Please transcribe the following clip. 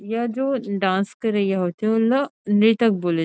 यह जो डांस करैया होथे ओला नर्तक बोले--